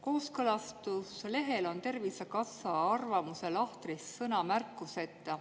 Kooskõlastuslehel on Tervisekassa arvamuse lahtris sõna "märkusteta".